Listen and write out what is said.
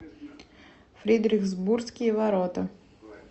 фридрихсбургские ворота